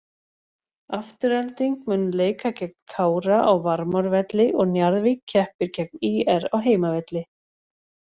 Afturelding mun leika gegn Kára á Varmárvelli og Njarðvík keppir gegn ÍR á heimavelli.